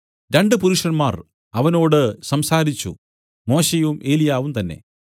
രണ്ടു പുരുഷന്മാർ അവനോട് സംസാരിച്ചു മോശെയും ഏലിയാവും തന്നേ